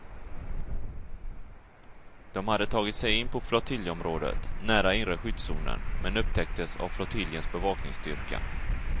De hade tagit sig in på flottiljområdet, nära inre skyddszonen, men upptäckts av flottiljens bevakningsstyrka.